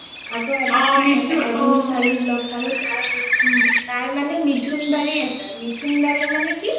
আকৌ এজনী ছোৱালী লগ পালো তাই মানে মিথুন বাৰি আছে মিথুন বাৰি মানে কি